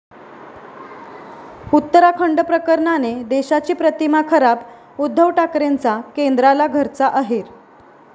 उत्तराखंड प्रकरणाने देशाची प्रतिमा खराब, उद्धव ठाकरेंचा केंद्राला घरचा अहेर